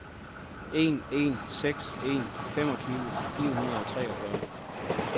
en en seks en femogtyve fire hundrede og treogfyrre